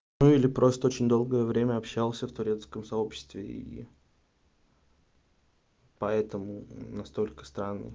ну или просто очень долгое время общался в турецком сообществе и поэтому настолько странный